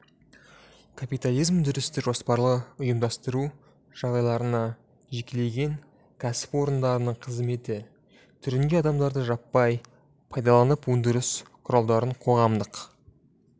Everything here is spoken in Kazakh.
капитализм өндірісті жоспарлы ұйымдастыру жағдайларында жекелеген кәсіпорындардың қызметі түрінде адамдарды жаппай пайдаланып өндіріс құралдарын қоғамдық